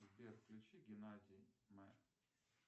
сбер включи геннадий